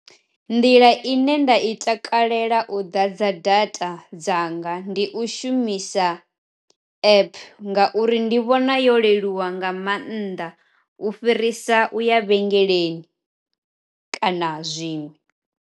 Nḓila ine nda i takalela u ḓa dza data dzanga ndi u shumisa app, ngauri ndi vhona yo leluwa nga maanḓa u fhirisa u ya vhengeleni kana zwiṅwe.